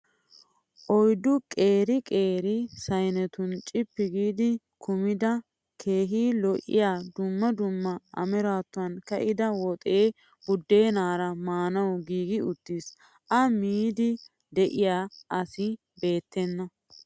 Oyiddu qeeri qeeri sayinetun cippi giidi kumida keehi lo'iyaa dumma dumma amaarattuwan ka'ida woxee buddeenaara maanawu giigi uttis. A miidi diya asi beettenna.